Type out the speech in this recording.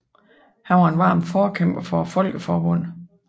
Han var en varm forkæmper for Folkeforbundet